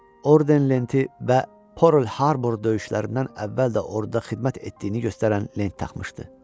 Orden lenti və Pearl Harbor döyüşlərindən əvvəl də orduda xidmət etdiyini göstərən lent taxmışdı.